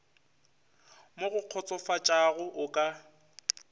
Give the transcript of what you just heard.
mo go kgotsofatšago o ka